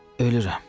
Ölürəm.